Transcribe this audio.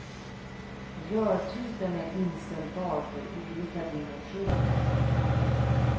Rörtypen är inställbar för olika dimensioner.